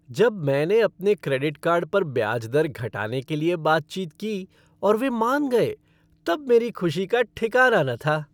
जब मैंने अपने क्रेडिट कार्ड पर ब्याज दर घटाने के लिए बातचीत की और वे मान गए तब मेरी ख़ुशी का ठिकाना न था।